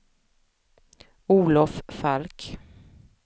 Olov Falk